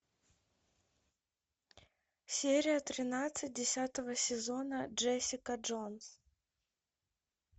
серия тринадцать десятого сезона джессика джонс